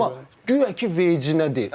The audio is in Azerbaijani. Amma guya ki, vecə deyil.